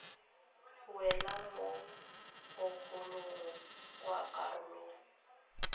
wela mo bogolong jwa karolo